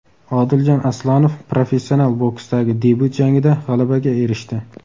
Odiljon Aslonov professional boksdagi debyut jangida g‘alabaga erishdi.